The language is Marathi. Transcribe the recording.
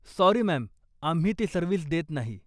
Sorry, ma'am. आम्ही ती सर्व्हिस देत नाही.